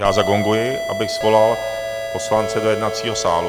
Já zagonguji, abych svolal poslance do jednacího sálu.